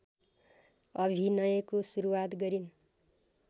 अभिनयको सुरुवात गरिन्